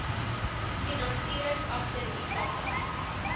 finansiering agter ikapa